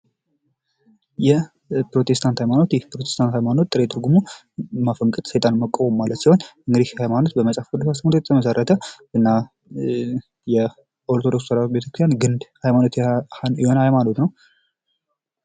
የፕሮቴስታንት ሀይማኖት፤ የፕሮቴስታንት ሀይማኖት ጥሬ ትርጉሙ ማፈንገጥ ሴጣንን መቃወም ማለት ሲሆን እንግሊዝ ይህ ሃይማኖት በመጽሐፍ ቅዱስ የተመሰረተ እና ተዋህዶ ቤተክርስቲያን ግንድ የሆነ ሃይማኖት ነው።